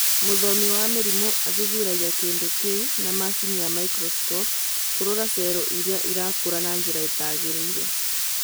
Mũthomi wa mĩrimũ athuthuragia kĩndũ kĩu na macini ya microscope kũrora cero irĩa irakũra na njĩra ĩtagĩrĩire